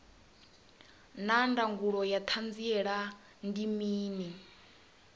naa ndangulo ya hanziela ndi mini